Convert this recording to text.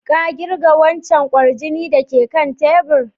Ka kirga wancan kwarjini da ke kan tabur?